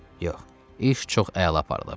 Yox, iş çox əla aparılıb.